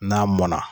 N'a mɔnna